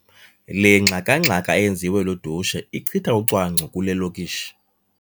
Le ngxakangxaka eyenziwa ludushe ichitha ucwangco kule lokishi.